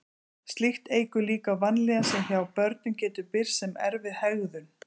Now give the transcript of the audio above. slíkt eykur líkur á vanlíðan sem hjá börnum getur birst sem erfið hegðun